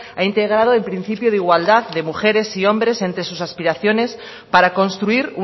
ha integrado el principio de igualdad de mujeres y hombres entre sus aspiraciones para construir